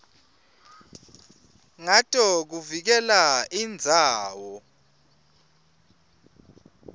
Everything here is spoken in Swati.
ngato kuvikela indzawo